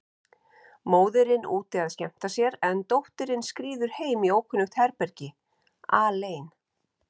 Móðirin úti að skemmta sér, en dóttirin skríður heim í ókunnugt herbergi, alein.